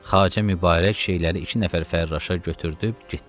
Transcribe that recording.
Xacə Mübarək şeyləri iki nəfər Fərraşa götürdüb getdi.